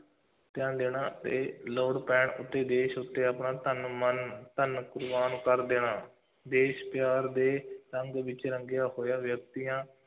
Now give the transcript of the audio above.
ਧਿਆਨ ਦੇਣਾ ਅਤੇ ਲੋੜ ਪੈਣ ਉੱਤੇ ਦੇਸ਼ ਉੱਤੇ ਆਪਣਾ ਤਨ, ਮਨ, ਧਨ ਕੁਰਬਾਨ ਕਰ ਦੇਣਾ, ਦੇਸ਼ ਪਿਆਰ ਦੇ ਰੰਗ ਵਿੱਚ ਰੰਗਿਆ ਹੋਇਆ ਵਿਅਕਤੀਆਂ,